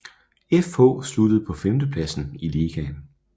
FH sluttede på femtepladsen i ligaen